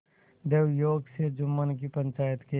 दैवयोग से जुम्मन की पंचायत के